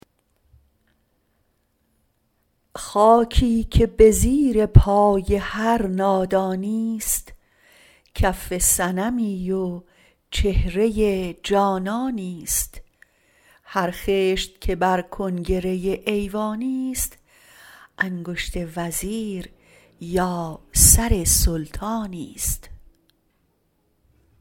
خاکی که به زیر پای هر نادانی ست کف صنمی و چهره جانانی ست هر خشت که بر کنگره ایوانی ست انگشت وزیر یا سر سلطانی ست